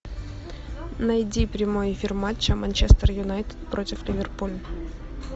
найди прямой эфир матча манчестер юнайтед против ливерпуля